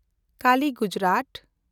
Kali - Gujarat